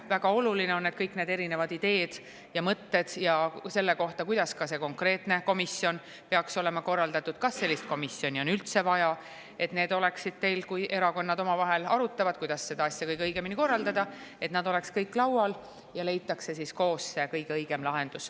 Väga oluline on, et kõik need erinevad ideed ja mõtted selle kohta, kuidas see konkreetne komisjon peaks olema korraldatud, kas sellist komisjoni on üldse vaja, oleksid laual, kui erakonnad omavahel arutavad, kuidas seda asja kõige õigemini korraldada, ja koos leitakse see kõige õigem lahendus.